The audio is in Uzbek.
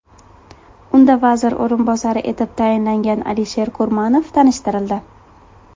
Unda vazir o‘rinbosari etib tayinlangan Alisher Kurmanov tanishtirildi.